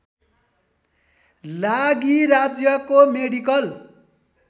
लागि राज्यको मेडिकल